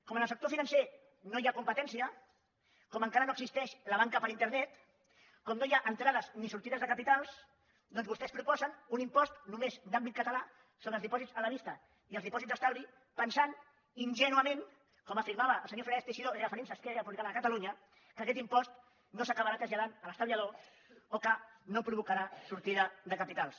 com que en el sector financer no hi ha competència com que encara no existeix la banca per internet com que no hi ha entrades ni sortides de capitals doncs vostès proposen un impost només d’àmbit català sobre els dipòsits a la vista i els dipòsits d’estalvi pensant ingènuament com afirmava el senyor fernández teixidó referint se a esquerra republicana de catalunya que aquest impost no s’acabarà traslladant a l’estalviador o que no provocarà sortida de capitals